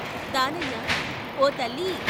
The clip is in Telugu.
దానయ్య ' ఓతల్లీ!